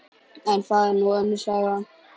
En það er nú önnur saga.